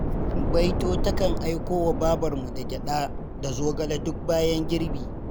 Baito takan aiko wa babarmu gyaɗa da zogale duk bayan girbi.